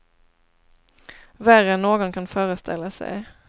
Värre än någon kan föreställa sig.